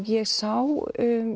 ég sá